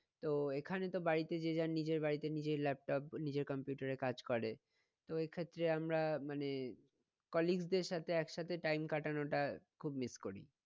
তো এখানে তো বাড়িতে যে যার নিজের বাড়িতে নিজেই laptop নিজের computer এর কাজ করে তো ওই ক্ষেত্রে আমরা মানে colleague দের সাথে এক সাথে time কাটানোটা খুব miss করি